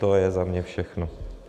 To je za mě všechno.